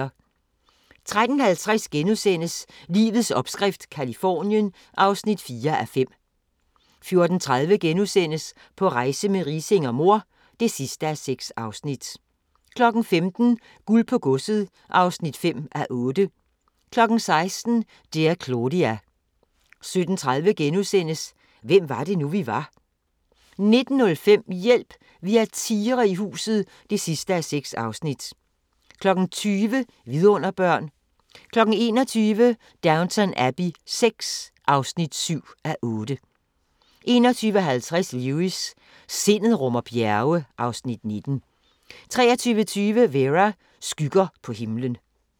13:50: Livets opskrift – Californien (4:5)* 14:30: På rejse med Riising og mor (6:6)* 15:00: Guld på godset (5:8) 16:00: Dear Claudia 17:30: Hvem var det nu, vi var? * 19:05: Hjælp! Vi har tigre i huset (6:6) 20:00: Vidunderbørn 21:00: Downton Abbey VI (7:8) 21:50: Lewis: Sindet rummer bjerge (Afs. 19) 23:20: Vera: Skygger på himlen